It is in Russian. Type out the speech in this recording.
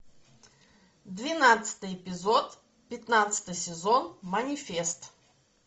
двенадцатый эпизод пятнадцатый сезон манифест